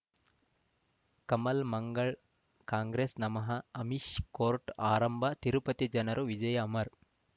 ಕಮಲ್ ಮಂಗಳ್ ಕಾಂಗ್ರೆಸ್ ನಮಃ ಅಮಿಷ್ ಕೋರ್ಟ್ ಆರಂಭ ತಿರುಪತಿ ಜನರು ವಿಜಯ ಅಮರ್